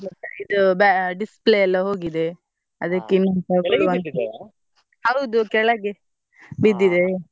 ಮತ್ತೆ ಇದು ba~ display ಎಲ್ಲಾ ಹೋಗಿದೆ. ಅದಕ್ಕೆ ಇನ್ನೊಂದ್ ಹೌದು ಕೆಳಗೆ ಬಿದ್ದಿದೆ .